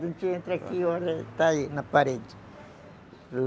A gente entra aqui e olha, está aí, na parede.